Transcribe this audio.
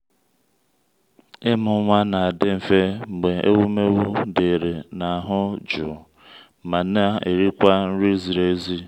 ịmụ nwa na-adị mfe mgbe ewumewụ dịrị n’ahụ́ jụụ ma na-erikwa nri ziri ezi.